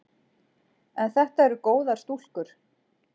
En þetta eru góðar stúlkur.